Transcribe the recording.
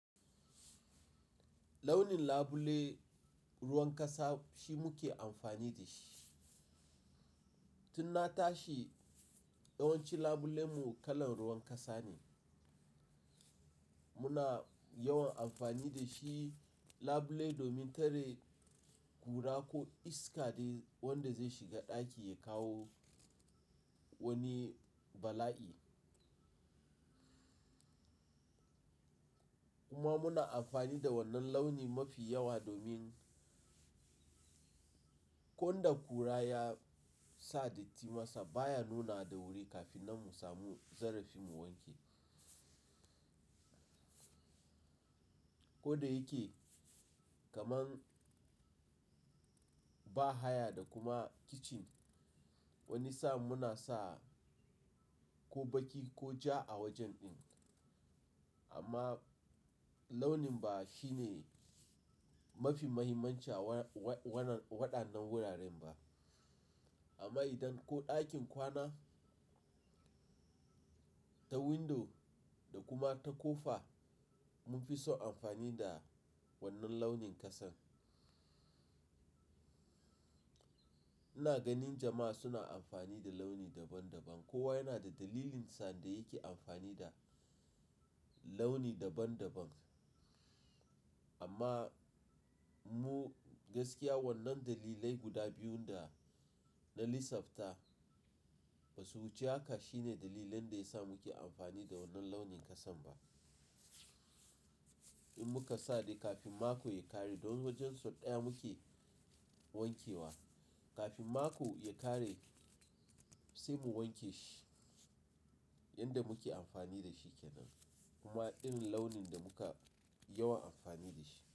Launin labule, ruwan ƙasa shi muke amfani da shi. Tun na tashi yawanci labule mu kalan ruwan ƙasa ne. Muna yawan amfani da shi labule domin tare kura ko iska wanda zai shiga ɗaki ya kawo wani bala'i. Kuma muna amfani da wannan launi mafi yawa domin ko da kura ya saditi masa baya nuna da wuri kafin na mu samu zarafi mu wanke. Ko da yake kaman bahaya da kuma kitchen wani sa'n muna sa ko baki ko ja a wajen din. Amma launin bah shi ne mafi mahimmanci waɗannan wuraren ba. Amma idan ko ɗakin kwana ta windo da kuma ta kofa mun fi so amfani da wannan launin ƙasan. Ina ganin jama'a suna amfani da launi daban daban. Kowa yana da dalilin sa da yake amfani da launi daban daban. Amma mu gaskiya wannan dalilai guda biyun da na lissafta ba su wuce haka shine dalilan da ya sa muke amfani da wannan launin ƙasan ba. In muka sade kafin mako ya ƙare don wajen son ɗaya muke wankewa. Kafin mako ya ƙare sai mu wanke shi yanda muke amfani da shi kenan. Kuma irin launin da muka yawan amfani da shi.